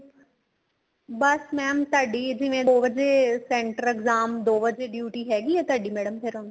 ਬੱਸ mam ਤੁਹਾਡੀ ਜਿਵੇਂ ਦੋ ਵਜ਼ੇ center exam ਦੋ ਵਜ਼ੇ duty ਹੈਗੀ ਏ ਤੁਹਾਡੀ ਮੈਡਮ ਫ਼ੇਰ ਹੁਣ